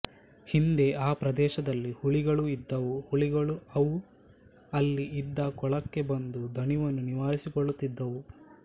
ಹಿಂದೆ ಆ ಪ್ರದೇಶದಲ್ಲಿ ಹುಲಿಗಳು ಇದ್ದವು ಹುಲಿಗಳು ಅವು ಅಲ್ಲಿ ಇದ್ದ ಕೊಳಕ್ಕೆ ಬಂದು ದಣಿವನ್ನು ನಿವಾರಿಸಿಕೊಳ್ಳುತ್ತಿದ್ದವು